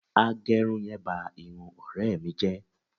Agẹrun yẹn ba irun ọ̀rẹ́ mi jẹ